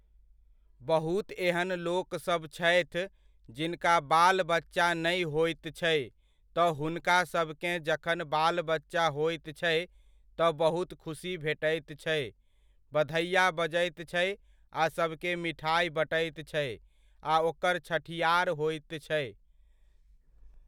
बहुत एहन लोक सब छथि, जिनका बाल बच्चा नहि होइत छै तऽ हुनकासभकेँ जखन बाल बच्चा होइत छै, तऽ बहुत खुसी भेटैत छै, बधैआ बजैत छै आ सबके मिठाइ बँटैत छै आ ओकर छठिआर होइत छै।